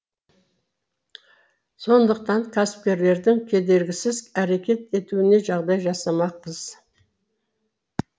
сондықтан кәсіпкерлердің кедергісіз әрекет етуіне жағдай жасамақпыз